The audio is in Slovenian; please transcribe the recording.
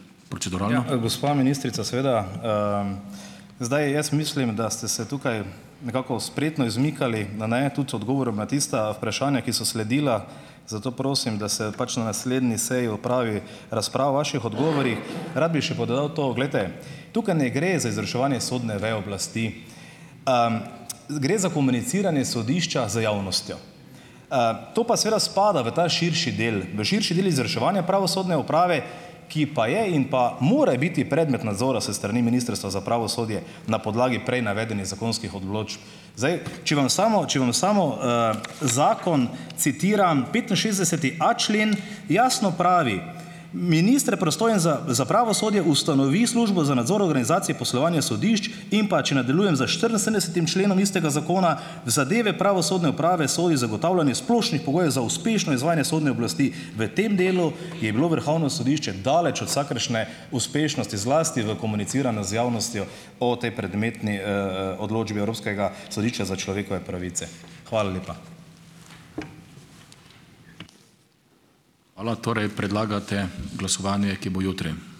Gospa ministrica, seveda zdaj jaz mislim, da ste se tukaj nekako spretno izmikali na ne tudi odgovoru na tista vprašanja, ki so sledila, zato prosim, da se pač na naslednji seji opravi razprava o vaših odgovorih. Rad bi pa še dodal to. Glejte, tukaj ne gre za izvrševanje sodne veje oblasti. Gre za komuniciranje sodišča z javnostjo. To pa seveda spada v ta širši del, v širši del izvrševanja pravosodne uprave, ki pa je in pa more biti predmet nadzora s strani Ministrstva za pravosodje na podlagi prej navedenih zakonskih odločb. Zdaj, če vam samo če vam samo zakon citiram, petinšestdeseti a člen jasno pravi: Minister, pristojen za za pravosodje, ustanovi Službo za nadzor organizacije poslovanja sodišč. In pa, če nadaljujem s štiriinsedemdesetim členom istega zakona: V zadeve pravosodne uprave sodi zagotavljanje splošnih pogojev za uspešno izvajanje sodne oblasti. V tem delu je bilo Vrhovno sodišče daleč od vsakršne uspešnosti, zlasti v komuniciranju z javnostjo o tej predmetni odločbi Evropskega sodišča za človekove pravice. Hvala lepa.